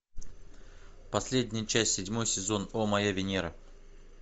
последняя часть седьмой сезон о моя венера